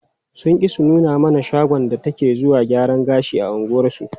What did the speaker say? Sun ƙi su nuna mana shagon da take zuwa gyaran gashi a unguwarsu.